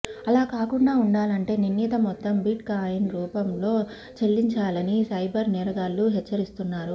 అలా కాకుండా ఉండాలంటే నిర్ణీత మొత్తం బిట్ కాయిన్స్ రూపంలో చెల్లించాలని సైబర్ నేరగాళ్లు హెచ్చరిస్తున్నారు